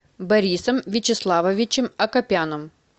борисом вячеславовичем акопяном